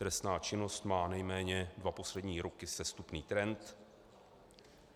Trestná činnost má nejméně dva poslední roky sestupný trend.